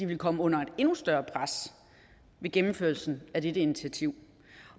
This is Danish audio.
vil komme under et endnu større pres med gennemførelsen af dette initiativ